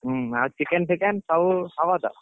ହଁ ଆଉ chicken ଫିକେନ ସବୁ ହବ ତ?